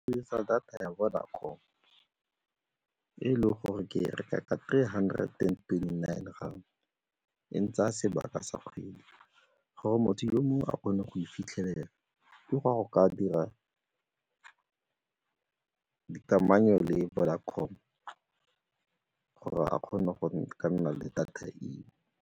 Ke dirisa data ya Vodacom e e leng gore ke reka ka three hundred and twenty-nine rand, e ntsaya sebaka sa kgwedi. Gore motho yo mongwe a kgone go fitlhelela ke ga go ka dira kamano le Vodacom gore a kgone go ka nna le data eo.